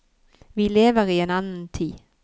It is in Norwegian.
Vi lever i en annen tid.